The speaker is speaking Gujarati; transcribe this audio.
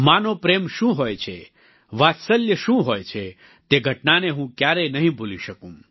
માં નો પ્રેમ શું હોય છે વાત્સલ્ય શું હોય છે તે ઘટનાને હું ક્યારેય નહીં ભૂલી શકું